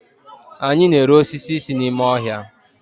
anyi na-ere osisi si n'ime ohia